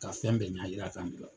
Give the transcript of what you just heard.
Ka fɛn bɛɛ ɲa jira k'an bila.